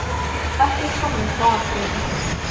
Ekkert kom upp á Akureyri